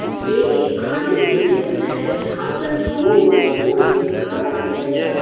ये एक खाने की टेबल है जहां पर लोगों को मुफ्त में खाना दिया जाता है।